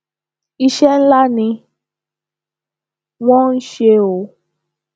iṣẹ ńlá ni wọn ń ṣe o